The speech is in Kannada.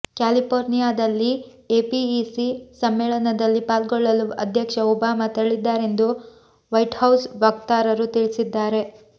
ಕ್ಯಾಲಿಪೋರ್ನಿಯಾದಲ್ಲಿ ಎಪಿಇಸಿ ಸಮ್ಮೇಳನದಲ್ಲಿ ಪಾಲ್ಗೊಳ್ಳಲು ಅಧ್ಯಕ್ಷ ಒಬಾಮಾ ತೆರಳಿದ್ದಾರೆಂದು ವೈಟ್ಹೌಸ್ ವಕ್ತಾರರು ತಿಳಿಸಿದ್ದಾರೆ